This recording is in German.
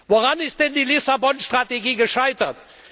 Woran ist denn die Lissabon Strategie gescheitert?